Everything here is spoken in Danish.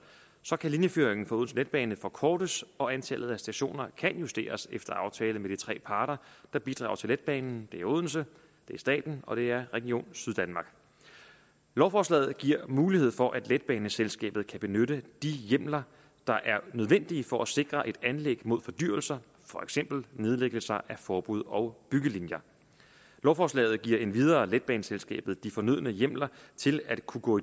så kan linjeføringen for odense letbane forkortes og antallet af stationer kan justeres efter aftale med de tre parter der bidrager til letbanen det er odense det er staten og det er region syddanmark lovforslaget giver mulighed for at letbaneselskabet kan benytte de hjemler der er nødvendige for at sikre et anlæg mod fordyrelser for eksempel nedlæggelse af forbud og byggelinjer lovforslaget giver endvidere letbaneselskabet de fornødne hjemler til at kunne gå